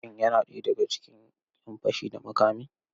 Shin yana ɗaya daga cikin 'yan fashi da makami?